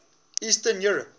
eastern europe